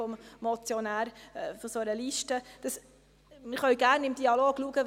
Eine solche Liste können wir gerne im Dialog anschauen.